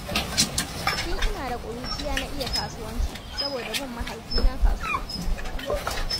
Tun ina da ƙuruciya na iya kasuwanci, saboda bin mahaifina kasuwa.